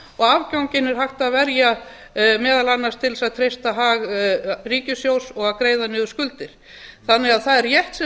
og afganginum er hægt að verja meðal annars til að treysta hag ríkissjóðs og að greiða niður skuldir það er rétt sem